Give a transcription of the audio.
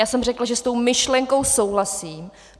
Já jsem řekla, že s tou myšlenkou souhlasím.